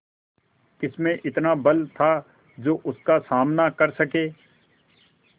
किसमें इतना बल था जो उसका सामना कर सके